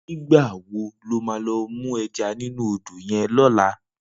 Nigba wó ló má lò mú èjá ninú ódó yèn lòlá?